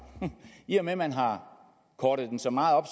i og med at man har kortet den så meget